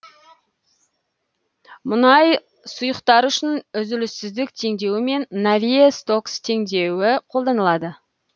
мұндай сұйықтықтар үшін үзіліссіздік теңдеуі мен навье стокс теңдеуі қолданылады